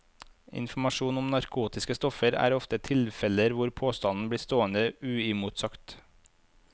Informasjon om narkotiske stoffer er ofte tilfeller hvor påstanden blir stående uimotsagt.